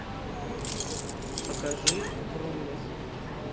покажи врумес